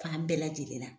Fan bɛɛ lajɛlen na